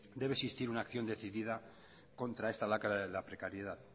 debe existir una acción decidida contra esta lacra de la precariedad